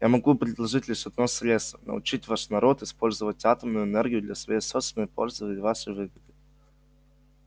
я могу предложить лишь одно средство научить ваш народ использовать атомную энергию для своей собственной пользы и вашей выгоды